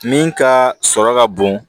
Min ka sɔrɔ ka bon